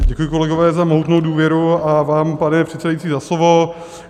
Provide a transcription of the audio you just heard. Děkuji, kolegové, za mohutnou důvěru a vám, pane předsedající, za slovo.